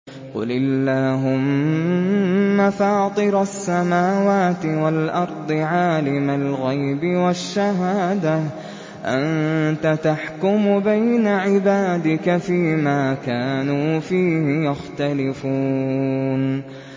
قُلِ اللَّهُمَّ فَاطِرَ السَّمَاوَاتِ وَالْأَرْضِ عَالِمَ الْغَيْبِ وَالشَّهَادَةِ أَنتَ تَحْكُمُ بَيْنَ عِبَادِكَ فِي مَا كَانُوا فِيهِ يَخْتَلِفُونَ